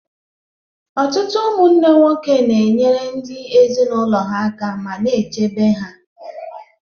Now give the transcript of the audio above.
Ọtụtụ ụmụnne nwoke na-enyere ndị ezinụlọ ha aka ma na-echebe ha.